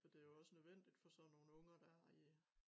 Og det jo også nødvendigt for sådan nogen unger der er i